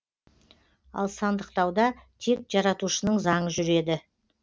ал сандықтауда тек жаратушының заңы жүреді